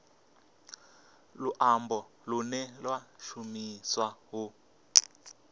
luambo lune lwa shumiswa u